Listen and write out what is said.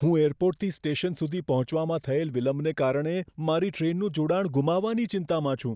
હું એરપોર્ટથી સ્ટેશન સુધી પહોંચવામાં થયેલ વિલંબને કારણે મારી ટ્રેનનું જોડાણ ગુમાવાની ચિંતામાં છું.